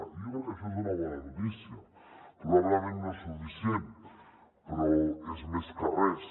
i jo crec que això és una bona notícia probablement no és suficient però és més que res